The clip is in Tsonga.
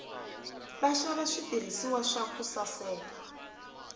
vaxava switirhiswa swa ku saseka